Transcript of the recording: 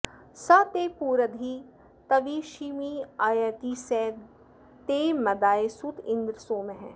स ते पुरंधिं तविषीमियर्ति स ते मदाय सुत इन्द्र सोमः